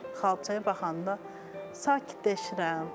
Xalçaya baxanda sakitləşirəm.